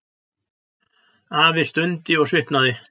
Afi stundi og svitnaði.